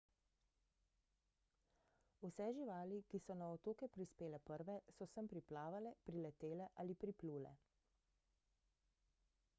vse živali ki so na otoke prispele prve so sem priplavale priletele ali priplule